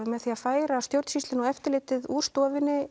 með því að færa stjórnsýsluna og eftirlitið úr stofunni